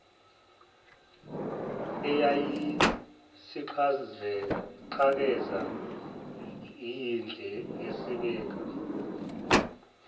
eyayisiqhakaze iyinhle yesabeka